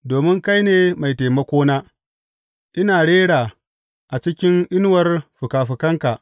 Domin kai ne mai taimakona, ina rera a cikin inuwar fikafikanka.